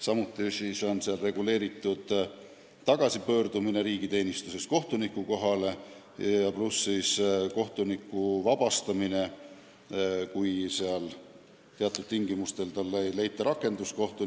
Samuti on selles paragrahvis reguleeritud tagasipöördumine riigiteenistusest kohtuniku ametikohale ja kohtuniku ametist vabastamine, kui teatud tingimustel ei leita talle rakendust.